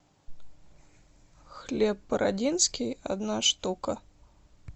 хлеб бородинский одна штука